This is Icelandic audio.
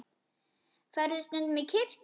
Ferðu stundum í kirkju?